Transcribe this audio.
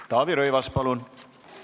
Taavi Rõivas, palun!